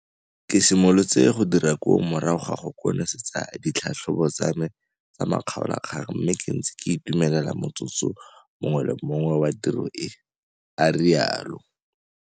Ke simolotse go dira koo kgwedi morago ga go konosetsa ditlhatlhobo tsame tsa makgaolakgang mme ke ntse ke itumelela motsotso mongwe le mongwe wa tiro e, a rialo.